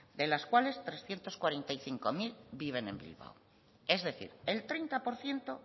de las cuales trescientos cuarenta y cinco mil viven en bilbao es decir el treinta por ciento